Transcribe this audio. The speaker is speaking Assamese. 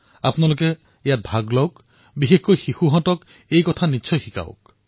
আপোনালোকে ইয়াত অংশগ্ৰহণ কৰক আৰু বিশেষকৈ আপোনাৰ সন্তানসকলক এই বিষয়ে নিশ্চিতভাৱে শিকাওক